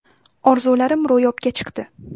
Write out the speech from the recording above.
Orzularim ro‘yobga chiqdi.